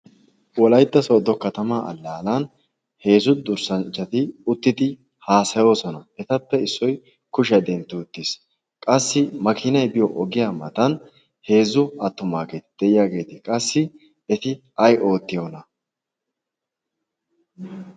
wolaytta soodo katamaa allaalan heezzu durssanchchati uttidi haasayoosona etappe issoi kushiyay dentti uttiis. qassi makinai biyo ogiya matan heezzu attomaageeti de'iyaageeti qassi eti ay oottiyoona?